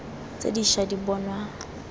tse di ša di bonwa